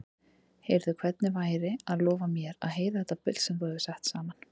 Heyrðu, hvernig væri að lofa mér að heyra þetta bull sem þú hefur sett saman?